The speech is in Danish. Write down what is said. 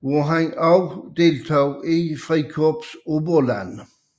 hvor han også deltog i Frikorps Oberland